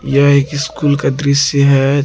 यह एक स्कूल का दृश्य है।